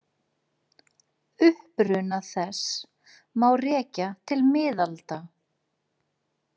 Uppruna þess má rekja til miðalda.